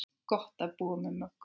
Gott að búa með Möggu.